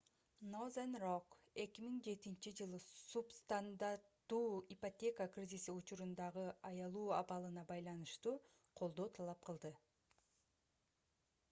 northern rock 2007-жылы субстандартуу ипотека кризиси учурундагы аялуу абалына байланыштуу колдоо талап кылды